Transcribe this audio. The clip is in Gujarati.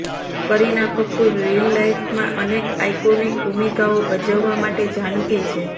કરીના કપૂર રીલ લાઇફમાં અનેક આઇકોનિક ભૂમિકાઓ ભજવવા માટે જાણીતી છે